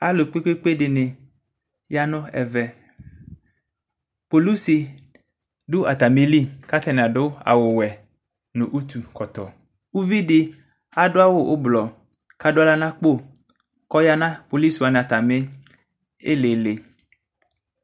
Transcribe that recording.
Alu kpekpe de ne ya no ɛvɛ Kpolusi do atame li ka atane ado awuwɛ no utu kltɔ Uvi de kado awu ublɔ kado ahla nakpo ko ya na kpolisi wane atame ilili